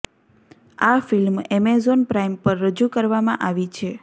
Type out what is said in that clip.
આ film Amazon Prime પર રજૂ કરવામાં આવી છે